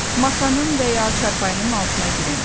Masanın və ya çarpayının altına girin.